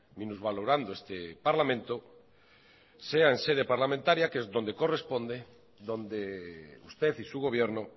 minusvalorando este parlamento sea en sede parlamentaria que es donde corresponde donde usted y su gobierno